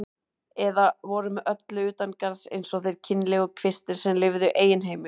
Eða voru með öllu utangarðs eins og þeir kynlegu kvistir sem lifðu í eigin heimi.